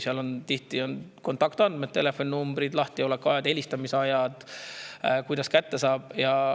Seal on tihti kontaktandmed: telefoninumbrid, lahtiolekuajad, helistamise ajad,, kuidas kätte saab.